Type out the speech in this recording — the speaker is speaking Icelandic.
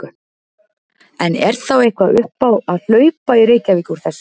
En er þá eitthvað upp á að hlaupa í Reykjavík úr þessu?